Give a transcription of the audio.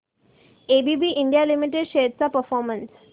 ABB India limited shares चा performance